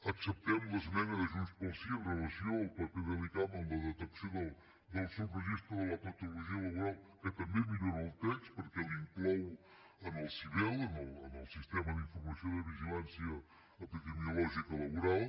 acceptem l’esmena de junts pel sí amb relació al paper de l’icam en la detecció del subregistre de la patologia laboral que també millora el text perquè l’inclou en el sivel en el sistema d’informació i de vigilància epidemiològica laboral